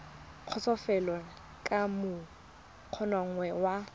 kgotsofalele ka moo ngongorego ya